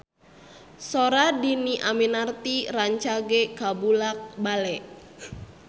Sora Dhini Aminarti rancage kabula-bale